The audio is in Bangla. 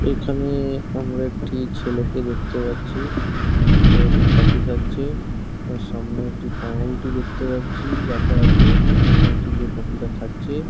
এখানে-এ আমার একটি ছেলেকে দেখতে পাচ্ছি। ছেলেটি কফি খাচ্ছে এবং সামনে একটি পাঁউরুটি দেখতে পাচ্ছি রাখা আছে পাঁউরুটি দিয়ে কফি -টা খাচ্ছে।